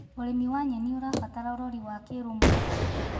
Ũrĩmĩ wa nyenĩ ũrabatara ũrorĩ wa kĩrũmwe